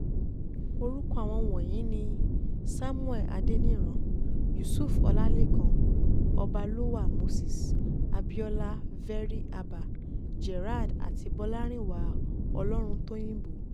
orúkọ àwọn wọ̀nyí ni samuel adeniran yusuf ọlálẹ́kan ọbálọ́wá moses abiola very-abah gerald àti bọlárìnwá ọlọ́runtòyìnbó